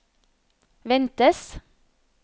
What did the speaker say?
ventes